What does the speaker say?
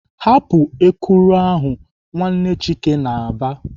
"Hapụ ekuru ahụ!" Nwanne Chike na-aba.